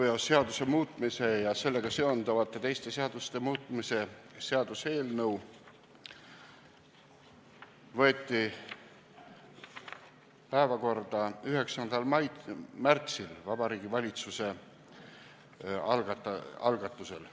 Autoveoseaduse muutmise ja sellega seonduvate teiste seaduste muutmise seaduse eelnõu võeti päevakorda 9. märtsil Vabariigi Valitsuse algatusel.